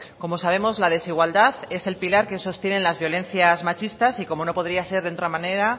como sabemos la desigualdad es el pilar que sostienen las violencias machistas y como no podría ser de otra manera